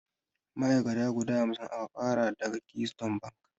Ma'ai'kata guda hamsin aka ƙara daga Keystone bank.